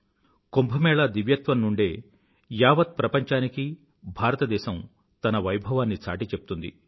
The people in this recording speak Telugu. కుంభ మేళా దివ్యత్వం నుండే యావత్ ప్రపంచానికీ భారతదేశం తన వైభవాన్ని చాటిచెప్తుంది